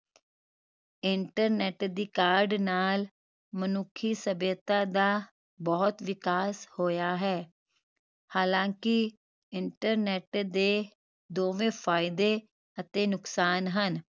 internet ਦੀ ਕਾਢ ਨਾਲ ਮਨੁੱਖੀ ਸਭਿਅਤਾ ਦਾ ਬਹੁਤ ਵਿਕਾਸ ਹੋਇਆ ਹੈ ਹਾਲਾਂਕਿ internet ਦੇ ਦੋਵੇਂ ਫਾਇਦੇ ਅਤੇ ਨੁਕਸਾਨ ਹਨ